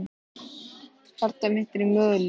Hjartað mitt er í molum.